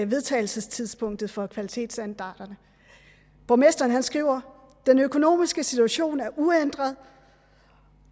vedtagelsestidspunktet for kvalitetsstandarderne borgmesteren skriver den økonomiske situation er uændret